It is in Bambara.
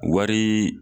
Wari